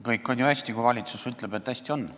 Kõik on ju hästi, kui valitsus ütleb, et on hästi.